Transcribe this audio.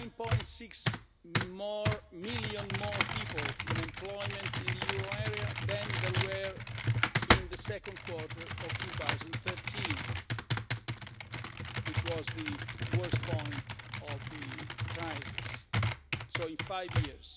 are 9.6 million more people in employment in the euro area than there were in the second quarter of 2013, which was the worst point of the crisis so in five years.